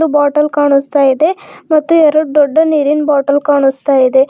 Bottle ಕಾನಿಸ್ತಾಯಿದೆ ಮತ್ತು ಎರಡು ದೊಡ್ಡ ನೀರಿನ ಬಾಟಲ್ ಕಾಣಿಸ್ತಾ ಇದೆ.